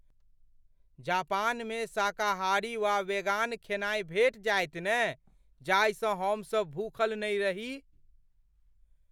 जापानमे शाकाहारी वा वेगान खेनाइ भेटि जायत ने जाहि सँ हमसभ भूखल नहि रही।